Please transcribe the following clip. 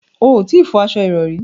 O ò tí ì fọ aṣo ìrọrí